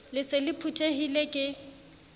le se le phuthehile ke